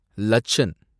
லச்சன்